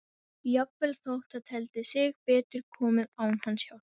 Jafnvel þótt það teldi sig betur komið án hans hjálpar.